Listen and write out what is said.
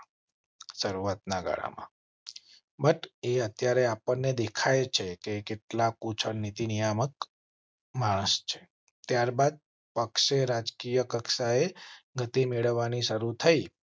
શરૂઆત ના ગાળામાં. અત્યારે આપણને દેખાય છે કે કેટલાક ઉચ્ચ નીતિ નિયામક મહારાષ્ટ્ર ત્યારબાદ પક્ષે રાજકીય કક્ષાએ ગતિ મેળવાની શરૂ થઈ